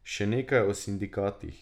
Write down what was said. Še nekaj o sindikatih.